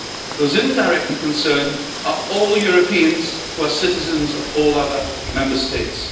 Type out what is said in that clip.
Those indirectly concerned are all Europeans who are citizens of all the other Member States.